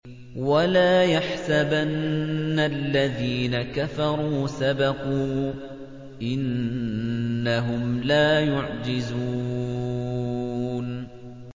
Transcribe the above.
وَلَا يَحْسَبَنَّ الَّذِينَ كَفَرُوا سَبَقُوا ۚ إِنَّهُمْ لَا يُعْجِزُونَ